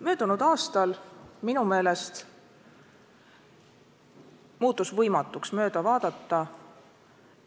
Möödunud aastal minu meelest muutus võimatuks mööda vaadata